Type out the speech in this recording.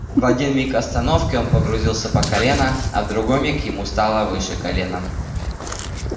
в один миг остановки он погрузился по колено а в другой миг ему стало выше колена